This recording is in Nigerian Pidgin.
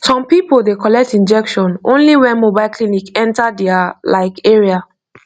some people dey collect injection only when mobile clinic enter their like area